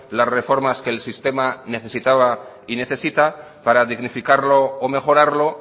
las reformas que el sistema necesitaba y necesita para dignificarlo o mejorarlo